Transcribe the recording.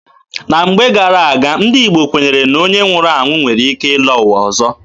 Na mgbe gara-aga, ndị Igbo kwenyere na onye nwụrụ anwụ nwere ike ịlọ ụwa ọzọ.